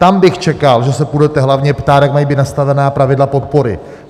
Tam bych čekal, že se půjdete hlavně ptát, jak mají být nastavena pravidla podpory.